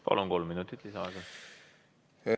Palun, kolm minutit lisaaega!